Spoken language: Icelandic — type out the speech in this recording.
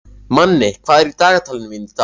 Manni, hvað er í dagatalinu mínu í dag?